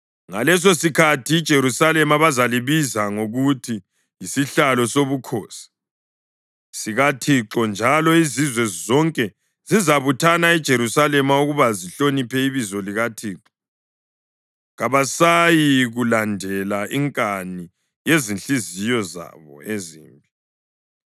Ngalesosikhathi iJerusalema bazalibiza ngokuthi yisiHlalo Sobukhosi sikaThixo, njalo izizwe zonke zizabuthana eJerusalema ukuba zihloniphe ibizo likaThixo. Kabasayikulandela inkani yezinhliziyo zabo ezimbi.